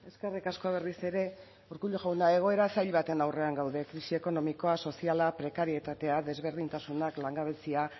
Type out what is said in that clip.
eskerrik asko berriz ere urkullu jauna egoera zail baten aurrean gaude krisi ekonomikoa soziala prekarietatea desberdintasunak langabezia